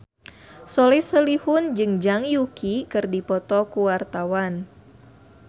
Soleh Solihun jeung Zhang Yuqi keur dipoto ku wartawan